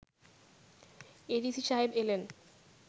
ADC সাহেব এলেন